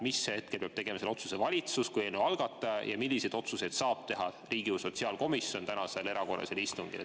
Mis hetkel peab tegema selle otsuse valitsus kui eelnõu algataja ja milliseid otsuseid saab teha Riigikogu sotsiaalkomisjon tänasel erakorralisel istungil?